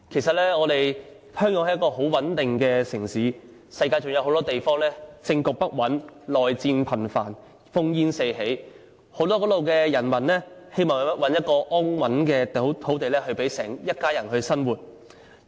香港是一個很穩定的城市，以致世界各地很多政局不穩、內戰頻繁、烽煙四起的地方的人民，都希望在此找到一片安穩土地，讓一家人生活下去。